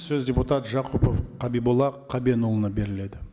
сөз депутат жақұпов қабиболла қабенұлына беріледі